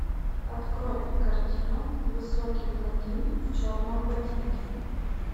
открой картину высокий блондин в черном ботинке